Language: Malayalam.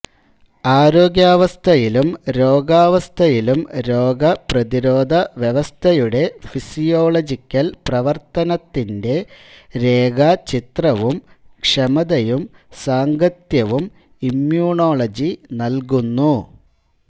ആരോഗ്യാവസ്ഥയിലും രോഗാവസ്ഥയിലും രോഗപ്രതിരോധവ്യവസ്ഥയുടെ ഫിസിയോളജിക്കൽ പ്രവർത്തനത്തിൻറെ രേഖാചിത്രവും ക്ഷമതയും സാംഗത്യവും ഇമ്യൂണോളജി നൽകുന്നു